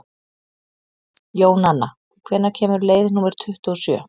Jónanna, hvenær kemur leið númer tuttugu og sjö?